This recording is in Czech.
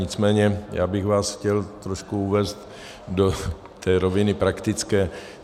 Nicméně já bych vás chtěl trošku uvést do té roviny praktické.